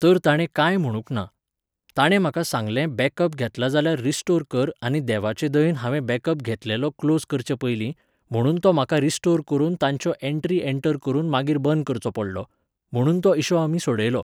तर ताणें कांय म्हणूंक ना. ताणें म्हाका सांगलें बॅकअप घेतला जाल्यार रिस्टोर कर आनी देवाचे दयेन हांवें बॅकअप घेतलेलो क्लोज करचे पयलीं, म्हणून तो म्हाका रिस्टोर करून तांच्यो एंट्री एंंटर करून मागीर बंद करचो पडलो. म्हणून तो इशू आमी सोडयलो.